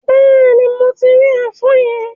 Bẹ́ẹ̀ni, mo ti rí ẹfọn yẹn.